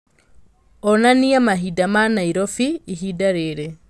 onania mahinda ma Nairobi ihinda rĩrĩ